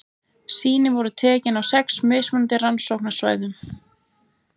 Sýni voru tekin á sex mismunandi rannsóknarsvæðum.